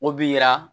O bi yira